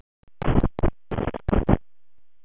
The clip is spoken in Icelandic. Ásgeir: Jæja, strákar, hvað eruð þið að fara að gera?